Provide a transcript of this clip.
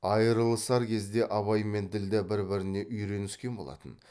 айрылысар кезде абай мен ділдә бір біріне үйреніскен болатын